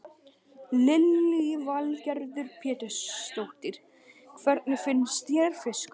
Lillý Valgerður Pétursdóttir: Hvernig finnst þér fiskurinn?